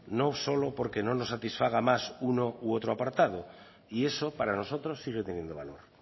no solo porque no nos satisfaga más uno u otro apartado y eso para nosotros sigue teniendo valor